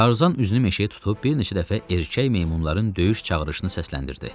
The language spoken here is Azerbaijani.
Tarzan üzünü meşəyə tutub bir neçə dəfə erkək meymunların döyüş çağırışını səsləndirdi.